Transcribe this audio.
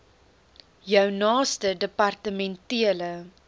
jou naaste departementele